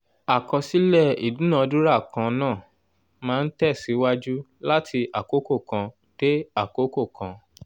àkọsílẹ̀ ìdúnadúrà kan náà máa ń tẹ̀síwájú láti àkókò kan dé àkókò kan.